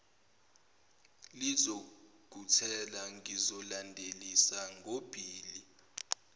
lizokuthela ngizolandelisa ngobhili